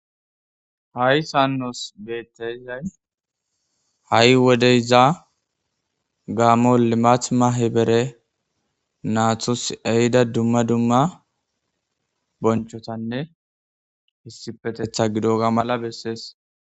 ha7i sannos beettayzay ha7i wodeyza gaamolimathma hi bere naatos ehida dumma dumma bonchotanne hissipetetha gido ga mala bessees